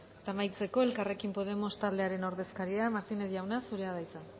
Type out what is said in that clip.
eta amaitzeko elkarrekin podemos taldearen ordezkaria martínez jauna zurea da hitza